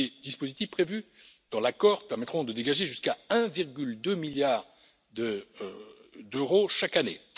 Les dispositifs prévus dans l'accord permettront de dégager jusqu'à 1,2 milliard d'euros chaque année.